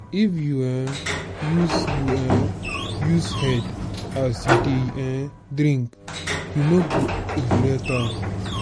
if you um use you um use head as you dey um drink you no go regret am.